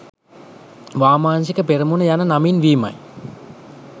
වාමාංශික පෙරමුණ යන නමින් වීමයි